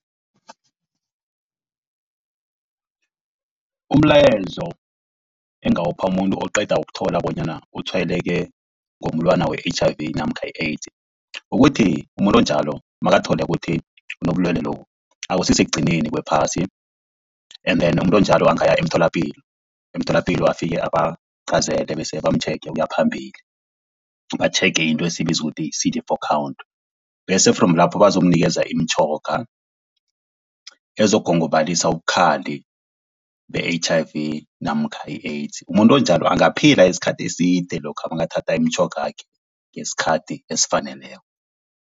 Umlayezo engingawupha umuntu oqeda ukuthola bonyana utshwayeleke ngomulwana we-H_I_V namkha i-AIDS, ukuthi umuntu onjalo nakathole kuthi unobulwelwe lobu akusi sekugcineni kwephasi. And then umuntu onjalo angaya emtholapilo, emtholapilo afike abaqhazele bese bamtjhege ukuya phambili, batjhege into esiyibiza ukuthi yi-C_D four count, bese from lapho bazokunikeza imitjhoga ezokugongobalisa ubukhali be-H_I_V namkha i-AIDS. Umuntu onjalo angaphila isikhathi eside lokha bangathatha imitjhogakhe ngesikhathi esifaneleko.